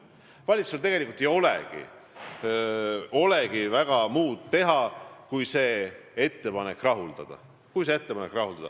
Valitsusel tegelikult ei olegi väga muud teha, kui see ettepanek rahuldada.